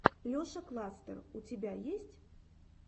леша кластер у тебя есть